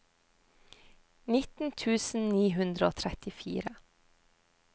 nitten tusen ni hundre og trettifire